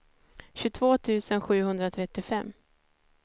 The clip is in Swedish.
tjugotvå tusen sjuhundratrettiofem